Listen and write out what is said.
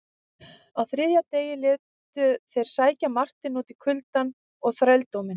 Á þriðja degi létu þeir sækja Marteinn út í kuldann og þrældóminn.